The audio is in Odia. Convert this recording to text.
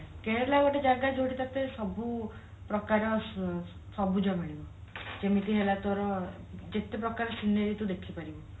କେରେଲା ଗୋଟେ ଜାଗା ଯୋଉଠି ତତେ ସବୁ ପ୍ରକାର ସବୁଜ ମିଳିବ ଯେମିତି ହେଲା ତୋର ଯେତେ ପ୍ରକାର scenery ତୁ ଦେଖିପାରିବୁ